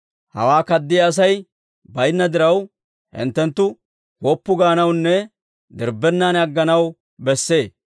Hawaa kaddiyaa Asay baynna diraw, hinttenttu woppu gaanawunne dirbbennan agganaw bessee.